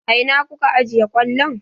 A ina kuka ajiye kwallon?